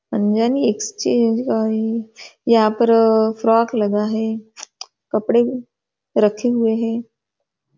पंजा नी एक्सचेंज कायी यहाँ पर फ्रँक लगा है कपड़े रखे हुए है।